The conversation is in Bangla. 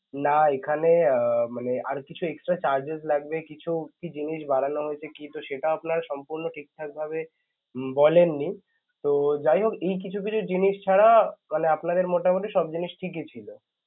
না~ এখানে উম মানে আরও কিছু extra charges লাগবে কিছু জিনিস বাড়ানো হয়েছে কিন্তু সেটা আপনারা সম্পূর্ণ ঠিকঠাক ভাবে ব~ বলেননি. ত~ যাইহোক এই কিছু কিছু জিনিস ছাড়া~ মানে আপনাদের মোটামুটি সব জিনিস ঠিকই ছিল.